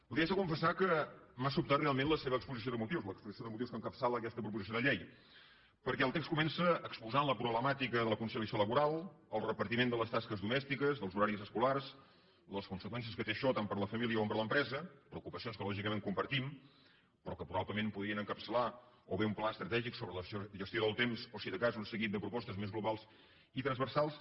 li haig de confessar que m’ha sobtat realment la seva exposició de motius l’exposició de motius que encapçala aquesta proposició de llei perquè el text comença exposant la problemàtica de la conciliació laboral el repartiment de les tasques domèstiques dels horaris escolars les conseqüències que té això tant per a la família com per a l’empresa preocupacions que lògicament compartim però que probablement podrien encapçalar o bé un pla estratègic sobre la gestió del temps o si de cas un seguit de propostes més globals i transversals